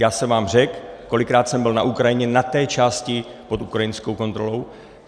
Já jsem vám řekl, kolikrát jsem byl na Ukrajině na té části pod ukrajinskou kontrolou.